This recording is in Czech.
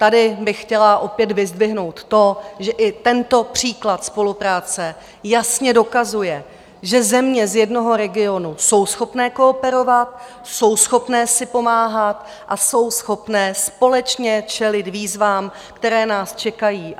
Tady bych chtěla opět vyzdvihnout to, že i tento příklad spolupráce jasně dokazuje, že země z jednoho regionu jsou schopny kooperovat, jsou schopny si pomáhat a jsou schopny společně čelit výzvám, které nás čekají.